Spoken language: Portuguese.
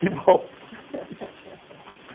Que bom!